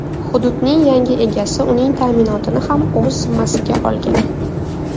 Hududning yangi egasi uning ta’minotini ham o‘z zimmasiga olgan.